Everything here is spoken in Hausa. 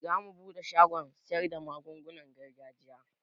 Zamu buɗe shagon siyarda magungunan gargajiya